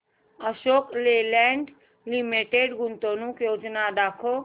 Ashok Leyland limited गुंतवणूक योजना दाखव